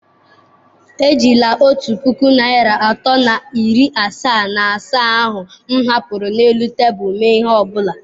Ejila otu puku naịra atọ na iri asaa na asaa ahụ m hapụrụ n'elu tebụl mee ihe ọbula.